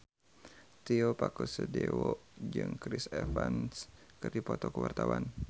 Tio Pakusadewo jeung Chris Evans keur dipoto ku wartawan